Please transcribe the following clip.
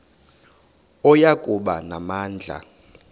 oya kuba namandla